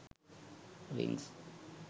rings